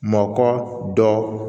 Mɔkɔ dɔ